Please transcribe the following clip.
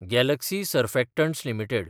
Galaxy Surfactants limited